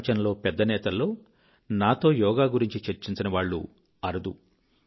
ప్రపంచంలో పెద్ద నేతల్లో నాతో యోగా గురించి చర్చించని వాళ్ళు అరుదు